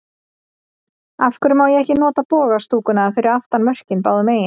Af hverju má ekki nota boga stúkuna fyrir aftan mörkin báðu megin?